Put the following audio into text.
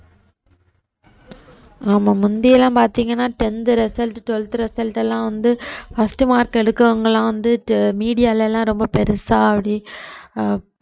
ஆமா முந்தியெல்லாம் பாத்தீங்கன்னா tenth result, twelfth result எல்லாம் வந்து first mark எடுக்கறவங்க எல்லாம் வந்து media ல எல்லாம் ரொம்ப பெருசா அப்படி அஹ்